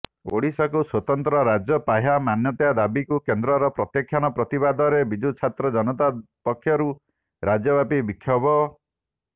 ଓଡ଼ିଶାକୁ ସ୍ବତନ୍ତ୍ର ରାଜ୍ୟ ପାହ୍ୟା ମାନ୍ୟତା ଦାବୀକୁ କେନ୍ଦ୍ରର ପ୍ରତ୍ୟାଖ୍ୟାନ ପ୍ରତିବାଦରେ ବିଜୁଛାତ୍ର ଜନତା ପକ୍ଷରୁ ରାଜ୍ୟବ୍ୟାପୀ ବିକ୍ଷୋଭ